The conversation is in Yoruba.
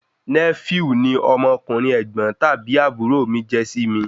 Nẹ́fíù ni ọmọkùnrin ẹ̀gbọ́n tàbí àbúrò mi jẹ́ sí mi